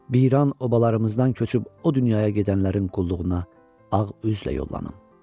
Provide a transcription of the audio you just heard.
Viran obalarımızdan köçüb o dünyaya gedənlərin qulluğuna ağ üzlə yollanım.